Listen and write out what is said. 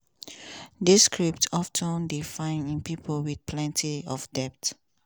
dis script of ten dey found in pipo wit plenti of debt.